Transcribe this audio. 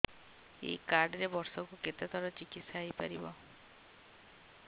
ଏଇ କାର୍ଡ ରେ ବର୍ଷକୁ କେତେ ଥର ଚିକିତ୍ସା ହେଇପାରିବ